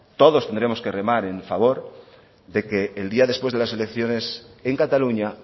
todos tendremos que remar a favor de que el día después de las elecciones en cataluña